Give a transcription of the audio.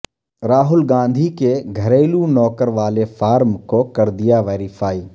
راہل گاندھی کے گھریلو نوکر والے فارم کو کر دیا ویریفائی